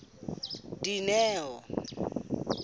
dineo